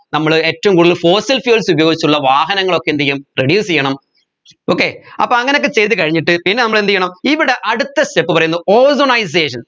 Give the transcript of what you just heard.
നമ്മൾ ഏറ്റവും കൂടുതൽ fossil fuels ഉപയോഗിച്ചുള്ള വാഹനങ്ങൾ ഒക്കെ എന്ത് ചെയ്യും reduce ചെയ്യണം okay അപ്പോ അങ്ങനെ ഒക്കെ ചെയ്തുകഴിഞ്ഞിട്ട് പിന്നെ നമ്മൾ എന്ത് ചെയ്യണം ഇവിടെ അടുത്ത step പറയുന്നു ozonisation